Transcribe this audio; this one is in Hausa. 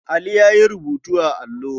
Ali ya yi rubutu a allo.